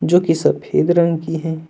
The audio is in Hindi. जो कि सफेद रंग की है।